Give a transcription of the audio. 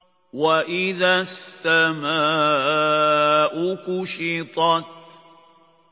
وَإِذَا السَّمَاءُ كُشِطَتْ